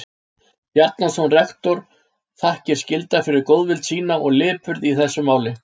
Bjarnason rektor þakkir skyldar fyrir góðvild sína og lipurð í þessu máli.